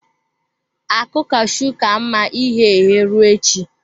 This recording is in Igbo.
Akụ cashew ka mma ighe eghe, ruo echi.